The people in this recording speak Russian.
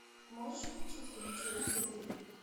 можешь включить фильм челюсти три